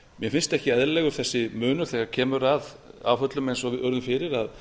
mér finnst ekki eðlilegur þessi munur þegar kemur að áföllum eins og við urðum að